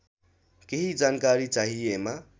केही जानकारी चाहिएमा